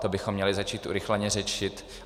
To bychom měli začít urychleně řešit.